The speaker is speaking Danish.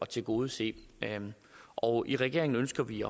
tilgodese og i regeringen ønsker vi